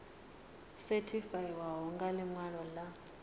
sethifaiwaho ya ḽi ṅwalo ḽa